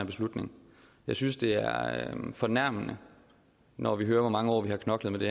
beslutning jeg synes det er er fornærmende når vi hører hvor mange år vi har knoklet med det